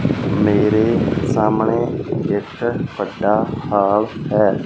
ਮੇਰੇ ਸਾਹਮਣੇ ਇੱਕ ਵੱਡਾ ਹਾਲ ਹੈ।